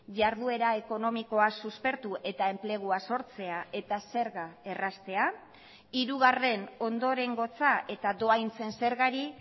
jarduera ekonomikoa suspertu eta enplegua sortzea eta zerga erraztea hirugarren ondorengotza eta dohaintzen zergari